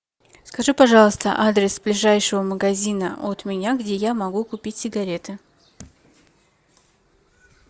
скажи пожалуйста адрес ближайшего магазина от меня где я могу купить сигареты